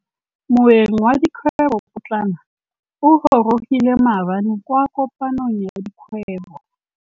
Moêng wa dikgwêbô pôtlana o gorogile maabane kwa kopanong ya dikgwêbô.